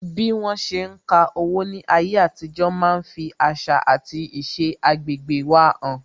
Bí wọn ṣe ń ka owó ní ayé àtijó máa ń fi àṣà àti iṣẹ agbegbe wa han